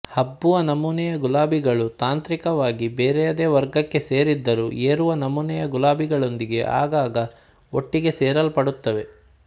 ಹಬ್ಬುವ ನಮೂನೆಯ ಗುಲಾಬಿಗಳು ತಾಂತ್ರಿಕವಾಗಿ ಬೇರೆಯದೇ ವರ್ಗಕ್ಕೆ ಸೇರಿದ್ದರೂ ಏರುವ ನಮೂನೆಯ ಗುಲಾಬಿಗಳೊಂದಿಗೆ ಆಗಾಗ ಒಟ್ಟಿಗೆ ಸೇರಿಸಲ್ಪಡುತ್ತವೆ